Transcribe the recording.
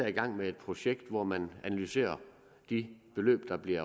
i gang med et projekt hvor man analyserer de beløb der bliver